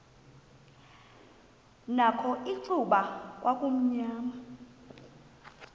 nakho icuba kwakumnyama